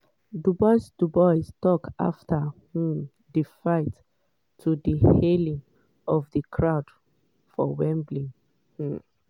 dubois dubois tok afta um di fight to di hailing of di crowd for wembley. um